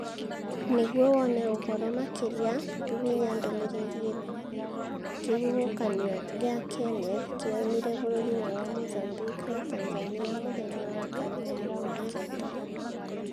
Nĩguo wone ũhoro makĩria, hihinya ndomereriri eno: Kĩhuhũkanio gĩa Kenneth 'kĩoimire bũrũri-inĩ wa Mozambique na Tanzania muthenya wa kana mweri kenda